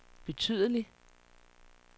betydelig